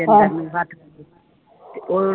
ਤੇ ਉਹ